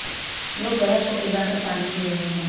लोग बर्फ को पिघला कर पानी पी रहे हैं